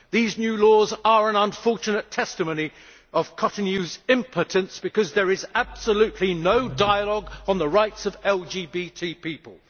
These new laws are an unfortunate testimony to Cotonou's impotence, because there is absolutely no dialogue on the rights of LGBTI people.